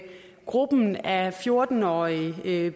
gruppen af fjorten årige